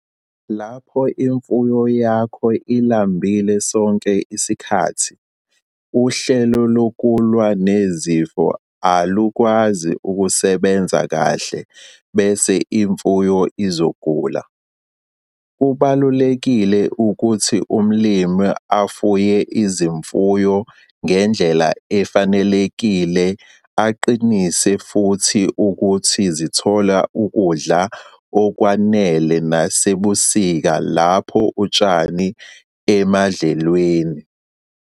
Lapho imfuyo yakho ilambile sonke isikhathi, uhlelo lokulwa nezifo alukwazi ukusebenza kahle bese imfuyo izogula. Kubalulekile ukuthi umlimi afuye izimfuyo ngendlela efanelekile aqinise futhi ukuthi zithola ukudla okwanele nasebusika lapho utshani emadlelweni.